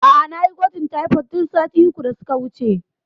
A'a nayi gwajin taifod tun sati uku da suka wuce